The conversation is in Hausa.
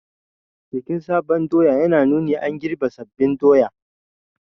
Bikin sabon doya yana nuna an girbe sabbin doya